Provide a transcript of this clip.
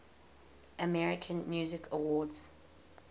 american music awards